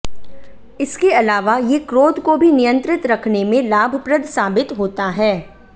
इसके अलावा ये क्रोध को भी नियंत्रित रखने में लाभप्रद साबित होता है